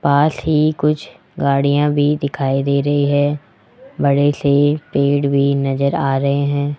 पास ही कुछ गाड़ियां भी दिखाई दे रही है बड़े से पेड़ भी नज़र आ रहे हैं।